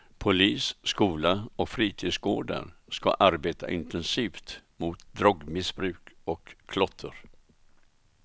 Polis, skola och fritidsgårdar ska arbeta intensivt mot drogmissbruk och klotter.